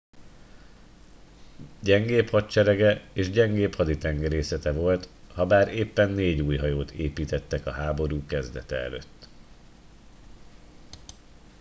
gyengébb hadserege és gyengébb haditengerészete volt habár éppen négy új hajót építettek a háború kezdete előtt